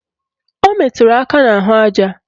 O meturu aka n'ahụaja